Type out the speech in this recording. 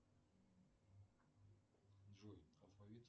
джой алфавит